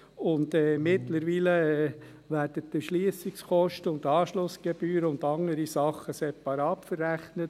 Mittlerweile werden die Erschliessungskosten und die Anschlussgebühren und andere Dinge separat verrechnet.